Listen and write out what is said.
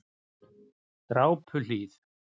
Drápuhlíð